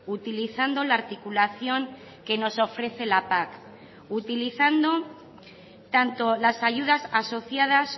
utilizando la articulación que nos ofrece la pac utilizando tanto las ayudas asociadas